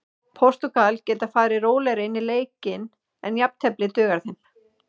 Portúgal geta farið rólegri inn í leikinn en jafntefli dugar þeim.